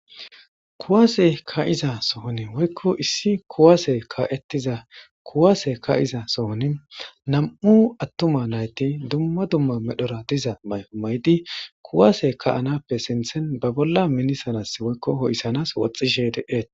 Kuwase ka7iza sohoni woykko issi kuwaase ka7ettiza kuwaase ka7iza sohoni nam7u attuma nayti dumma dumma medhora diza mayo maydi kuwase ka7anappe sinthen ba bolla minisalas woykko ho7issanas woxxishe deeet.